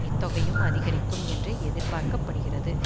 இத்தொகையும் அதிகரிக்கும் என்றே எதிர்பார்க்க படுகிறது